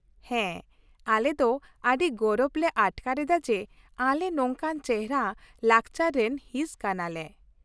ᱦᱮᱸ, ᱟᱞᱮ ᱫᱚ ᱟᱹᱰᱤ ᱜᱚᱨᱚᱵ ᱞᱮ ᱟᱴᱠᱟᱨ ᱮᱫᱟ ᱡᱮ ᱟᱞᱮ ᱱᱚᱝᱠᱟᱱ ᱪᱮᱦᱨᱟ ᱞᱟᱠᱪᱟᱨ ᱨᱮᱱ ᱦᱤᱸᱥ ᱠᱟᱱᱟᱞᱮ ᱾